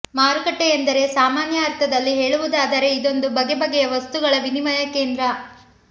ಮಾರುಕಟ್ಟೆಯೆಂದರೆ ಸಾಮಾನ್ಯ ಅರ್ಥದಲ್ಲಿ ಹೇಳುವುದಾದರೆ ಇದೊಂದು ಬಗೆ ಬಗೆಯ ವಸ್ತುಗಳ ವಿನಿಯಮ ಕೇಂದ್ರ